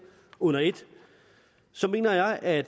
under et så mener jeg at